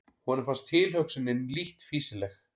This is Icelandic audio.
Honum fannst tilhugsunin lítt fýsileg.